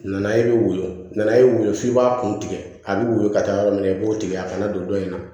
Nana e bɛ woyo nan'e weele f'i b'a kun tigɛ a bɛ wili ka taa yɔrɔ min na i b'o tigɛ a kana don dɔ in na